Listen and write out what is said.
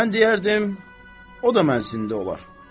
Mən deyərdim o da mənsində olar.